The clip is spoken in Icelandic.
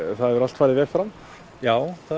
það hefur allt farið vel fram já það